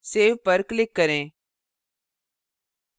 save पर click करें